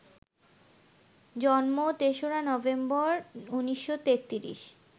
জন্ম ৩রা নভেম্বর, ১৯৩৩